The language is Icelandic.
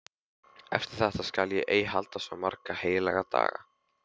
Eftir þetta skal ég ei halda svo marga heilaga daga.